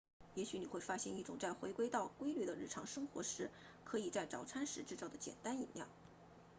也许你会发现一种在回归到规律的日常生活时可以在早餐时制作的简单饮料